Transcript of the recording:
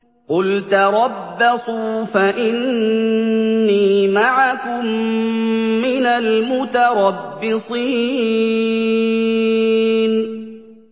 قُلْ تَرَبَّصُوا فَإِنِّي مَعَكُم مِّنَ الْمُتَرَبِّصِينَ